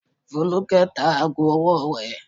Folúkẹ́ tá aago ọwọ́ rẹ̀.